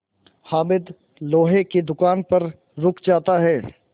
हामिद लोहे की दुकान पर रुक जाता है